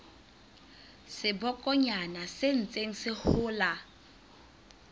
sebokonyana se ntseng se hola